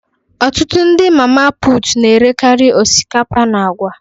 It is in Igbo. Ọtụtụ ndị mama put na-erekari osikapa na agwa